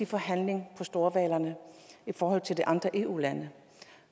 forhandling om storhvalerne i forhold til de andre eu lande